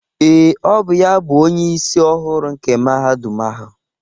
Ee, ọ bụ ya bụ Onyeisi ọhụrụ nke Mahadum ahụ.